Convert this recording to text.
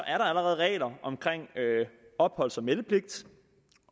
allerede regler om opholds og meldepligt